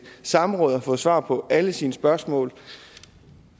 samråd og har fået svar på alle sine spørgsmål